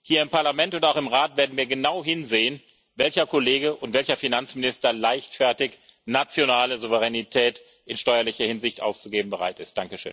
Hier im Parlament und auch im Rat werden wir genau hinsehen, welcher Kollege und welcher Finanzminister leichtfertig nationale Souveränität in steuerlicher Hinsicht aufzugeben bereit ist.